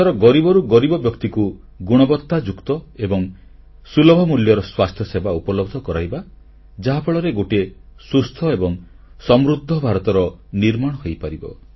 ଦେଶର ଗରିବରୁ ଗରିବ ବ୍ୟକ୍ତିକୁ ଗୁଣବତ୍ତାଯୁକ୍ତ ଏବଂ ସୁଲଭ ମୂଲ୍ୟର ସ୍ୱାସ୍ଥ୍ୟସେବା ଉପଲବ୍ଧ କରାଇବା ଯାହାଫଳରେ ଗୋଟିଏ ସୁସ୍ଥ ଏବଂ ସମୃଦ୍ଧ ଭାରତର ନିର୍ମାଣ ହୋଇପାରିବ